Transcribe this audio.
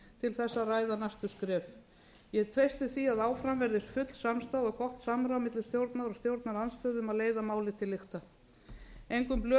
til þess að ræða næstu skref ég treysti því að áfram verði full samstaða og gott samráð milli stjórnar og stjórnarandstöðu um að leiða málið til lykta engum